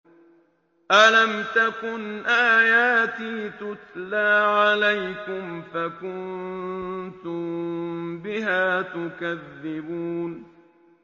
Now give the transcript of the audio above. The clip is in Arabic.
أَلَمْ تَكُنْ آيَاتِي تُتْلَىٰ عَلَيْكُمْ فَكُنتُم بِهَا تُكَذِّبُونَ